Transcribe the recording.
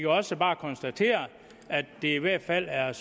også bare konstateres at det i hvert fald er